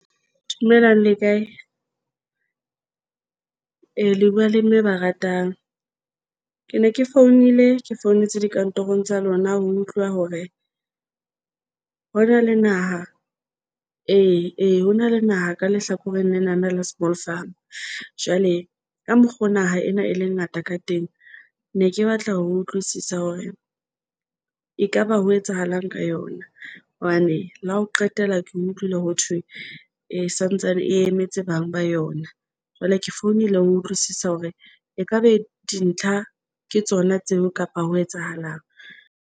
Dumelang le kae? Ee, le bua le Mme Baratang. Ke ne ke founile, ke founetse dikantorong tsa lona ho utlwa hore ho na le naha ee, ee ho na le naha ka lehlakoreng lena la Small Farm jwale ka mokgo naha ena e le ngata ka teng. Ne ke batla ho utlwisisa hore e kaba ho etsahalang ka yona, hobane la ho qetela. Ke utlwile ho thwe e sa ntsane e emetse bang ba yona. Jwale ke founile ho utlwisisa hore e ka be dintlha ke tsona tseo kapa ho etsahalang eng.